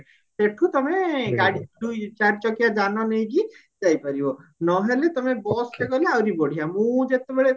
ସେଠୁ ତମେ ଗାଡି ଦୁଇ ଚାରି ଚକିଆ ଯାନ ନେଇକି ଯାଇପାରିବ ନହେଲେ ତମେ busରେ ଗଲେ ଆହୁରି ବଢିଆ ମୁଁ ଯେତେବେଳେ